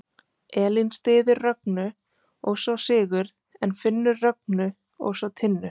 Elín styður Rögnu og svo Sigurð en Finnur Rögnu og svo Tinnu.